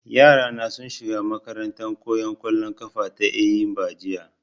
Yara na sun shiga makarantan koyan ƙwallon ƙafa ta Eyimba jiya